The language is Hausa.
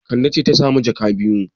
Kande ce ta sami jaka biyu.